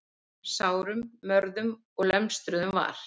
Sárum, mörðum og lemstruðum var